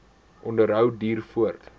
onderhou duur voort